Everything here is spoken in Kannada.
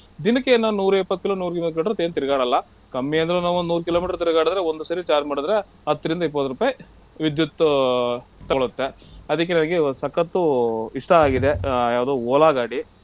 ದಿನಕ್ಕೆನೋ ನೂರಾ ಇಪ್ಪತ್ತ್ kilo ನೂರಾ ಮೂವತ್ kilometer ಏನ್ ತಿರ್ಗಾಡಲ್ಲ ಕಮ್ಮಿ ಅಂದ್ರು ನಾವ್ ಒಂದ್ ನೂರ್ kilometer ತಿರ್ಗಾಡುದ್ರೆ ಒಂದ್ ಸರಿ charge ಮಾಡುದ್ರೆ ಹತ್ರಿಂದ ಇಪ್ಪತ್ತ್ ರುಪೈ ವಿದ್ಯುತ್ ತಗೊಳುತ್ತೆ. ಅದಿಕ್ಕೆ ನನಿಗೆ ಸಕ್ಕತ್ತ್ ಇಷ್ಟ ಆಗಿದೆ ಆಹ್ ಯಾವ್ದೋ Ola ಗಾಡಿ.